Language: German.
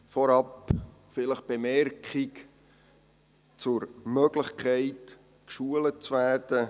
Vorab eine Bemerkung zur Möglichkeit, geschult zu werden: